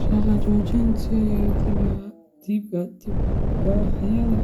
Shaqo joojinta iyo dibadbaxyada